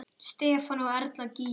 Stefán og Erla Gígja.